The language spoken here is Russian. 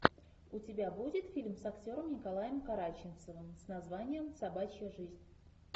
у тебя будет фильм с актером николаем караченцовым с названием собачья жизнь